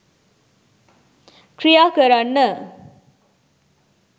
ක්‍රියා කරන්න.